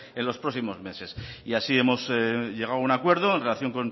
en los próximos meses y así hemos llegado a un acuerdo en relación